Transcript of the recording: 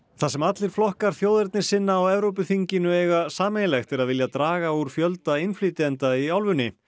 það sem allir flokkar þjóðernissinna á Evrópuþinginu eiga sameiginlegt er að vilja draga úr fjölda innflytjenda í álfunni